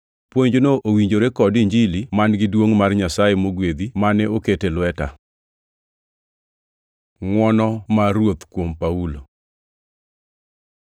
Puonjno owinjore kod Injili man-gi duongʼ mar Nyasaye mogwedhi, mane oket e lweta. Ngʼwono mar Ruoth kuom Paulo